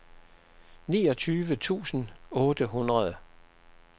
niogtyve tusind otte hundrede